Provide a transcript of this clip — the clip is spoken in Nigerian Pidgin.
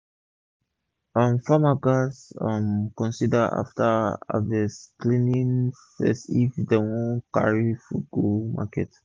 um farmers gats um consider afta harvest cleaning first if dem wan carry beta fud go market